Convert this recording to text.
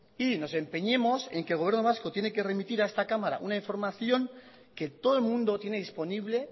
y nos empeñemos en que el gobierno vasco tiene que remitir a esta cámara una información que todo el mundo tiene disponible